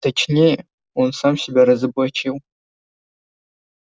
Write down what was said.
точнее он сам себя разоблачил